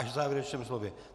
Až v závěrečném slově.